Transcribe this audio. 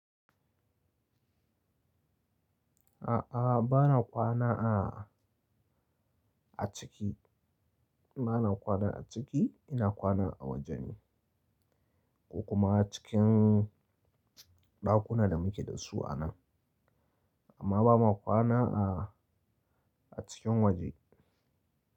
A'a, ba na kwana a, a ciki. Ba na kwana a ciki, ina kwana a waje ne. Ko kuma cikin ɗakuna da muke da su a nan. Amma ba ma kwana a, a cikin waje.